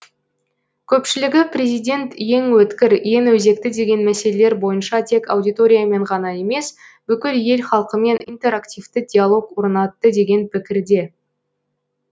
көпшілігі президент ең өткір ең өзекті деген мәселелер бойынша тек аудиториямен ғана емес бүкіл ел халқымен интерактивті диалог орнатты деген пікірде